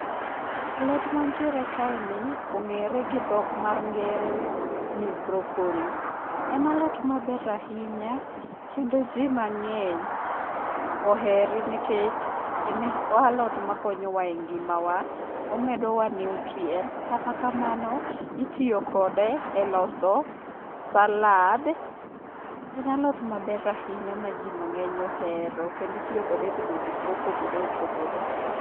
Alot mantiere kaeni ong'ere gi dhok mar ngere ni broccoli. En alot maber ahinya kendo ji mang'eny ohere nikech en alot makonyowa e ngimawa, omedowa nutrients. Kata kamano, itiyo kode e loso salad. En alot maber ahinya ma ji mang'eny ohero kendo itiyo kode e tedo gik mopogore opogore.